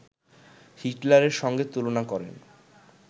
হিটলারের সঙ্গে তুলনা করেন